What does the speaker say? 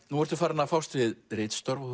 nú ertu farin að fást við ritstörf og